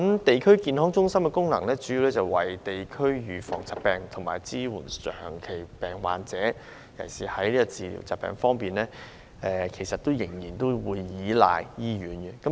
地區康健中心的主要功能，是為社區預防疾病及支援長期病患者，在治療疾病方面則仍然需要倚賴醫院。